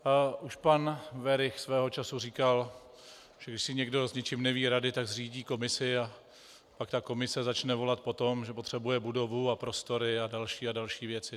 Už pan Werich svého času říkal, že když si někdo s něčím neví rady, tak zřídí komisi, a pak ta komise začne volat po tom, že potřebuje budovu a prostory a další a další věci.